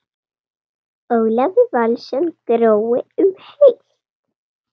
Ólafur Valsson: Grói um heilt?